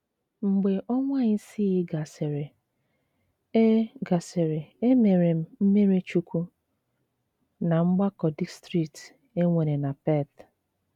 Mgbe ọnwa isii gasịrị, e gasịrị, e mere m mmiri chukwu ná mgbakọ distrikti e nwere na Perth.